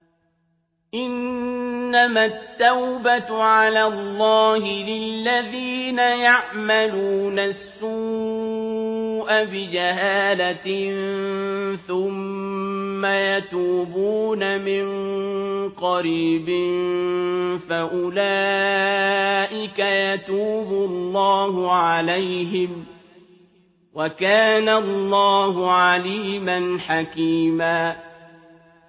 إِنَّمَا التَّوْبَةُ عَلَى اللَّهِ لِلَّذِينَ يَعْمَلُونَ السُّوءَ بِجَهَالَةٍ ثُمَّ يَتُوبُونَ مِن قَرِيبٍ فَأُولَٰئِكَ يَتُوبُ اللَّهُ عَلَيْهِمْ ۗ وَكَانَ اللَّهُ عَلِيمًا حَكِيمًا